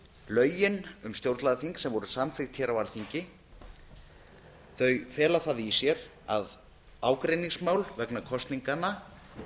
lögin um stjórnlagaþing sem voru samþykkt hér á alþingi fela það í sér að ágreiningsmál vegna kosninganna áttu